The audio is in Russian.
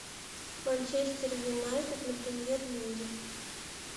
манчестер юнайтед на премьер лиге